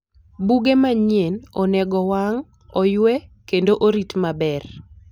Buge manyien onego owang', oywe, kendo orit maber.